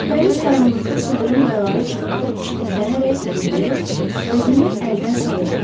Dəniz qaranlıqda sıldırım qayalara çırpılıb çiliklənərək uğuldayır, özünü əldən salırdı.